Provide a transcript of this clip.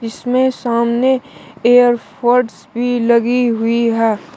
इसमें सामने एयरफोर्ड्स भी लगी हुई है।